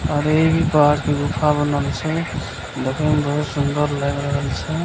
अरे इ भी पहाड़ के गुफा बनल छै देखे में बहुत सुन्दर लाएग रहल छै।